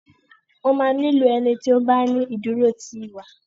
wọ má ní ìlò ẹní tí o bá ní iduro ti iwa.